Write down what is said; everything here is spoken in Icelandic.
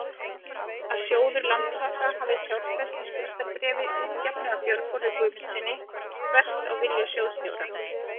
að sjóður Landsvaka hafi fjárfest í skuldabréfi útgefnu af Björgólfi Guðmundssyni, þvert á vilja sjóðsstjóra?